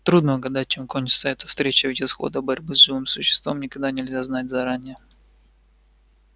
трудно угадать чем кончится эта встреча ведь исхода борьбы с живым существом никогда нельзя знать заранее